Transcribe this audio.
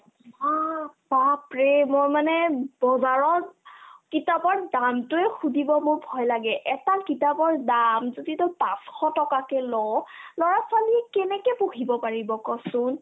ইমান বাপৰে ! মই মানে বজাৰত কিতাপৰ দামতোয়ে সুধিব মোৰ ভয় লাগে এটা কিতাপৰ দামতো যদি পাঁচশ টকাকে ল' ল'ৰা-ছোৱালী কেনেকে পঢ়িব পাৰিব ক'চোন